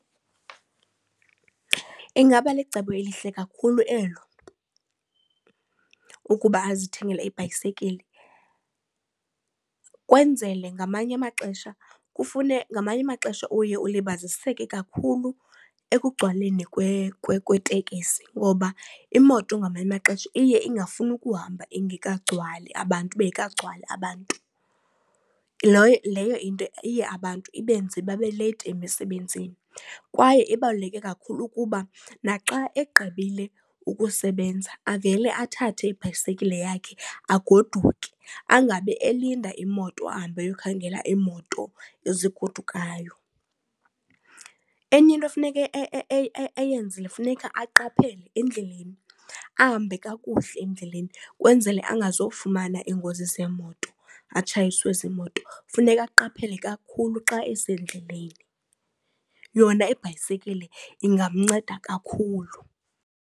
Ingaba licebo elihle kakhulu elo ukuba azithengele ibhayisekile kwenzele ngamanye amaxesha kufune ngamanye amaxesha uye ulibaziseke kakhulu ekugcwaleni kwetekisi ngoba imoto ngamanye amaxesha iye ingafuni ukuhamba ingekagcwali abantu bengekagcwali abantu. Leyo into iye abantu ibenze babe leyithi emisebenzini. Kwaye ibaluleke kakhulu ukuba naxa egqibile ukusebenza avele athathe ibhayisekile yakhe agoduke angabe elinda imoto ahambe ayokhangela iimoto ezigodukayo. Enye into efuneke eyenzile funeka aqaphele endleleni ahambe kakuhle endleleni, kwenzele angazofumana iingozi zeemoto atshayiswe ziimoto. Funeka aqaphele kakhulu xa esendleleni. Yona ibhayisekile ingamnceda kakhulu.